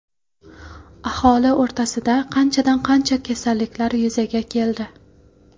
Aholi o‘rtasida qanchadan qancha kasalliklar yuzaga keldi.